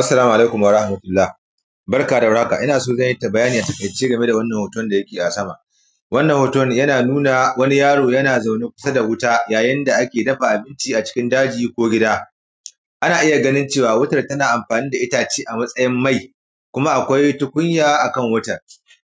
Assalamu alaikum warahmatullah, barka da warhaka, ina so zan yi ta; bayani a taƙaice game da wannan hoton da yake a sama. Wannan hoton yana nuna wani yaro yana zaune kusa da wuta, yayin da ake dafa abinci a cikin daji ko gida. Ana iya ganin cewa, wutar tana amfani da itace a matsayin mai, kuma akwai tukunya a kan wutar.